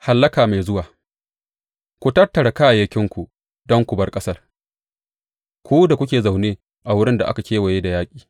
Hallaka mai zuwa Ku tattara kayayyakinku don ku bar ƙasar, ku da kuke zaune a wurin da aka kewaye da yaƙi.